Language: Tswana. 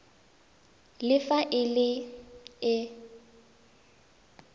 le fa e le e